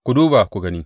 Ku duba ku gani.